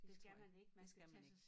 Det tror jeg det skal man ik